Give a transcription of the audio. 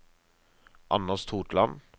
Anders Totland